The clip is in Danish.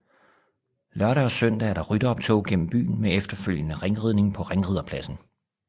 Lørdag og søndag er der rytteroptog gennem byen med efterfølgende ringridning på ringriderpladsen